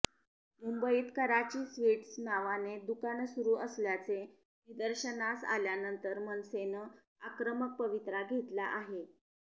मुंबईत कराची स्वीट्स नावाने दुकानं सुरू असल्याचे निर्दशनास आल्यानंतर मनसेनं आक्रमक पवित्रा घेतला आहे